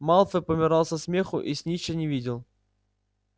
малфой помирал со смеху и снитча не видел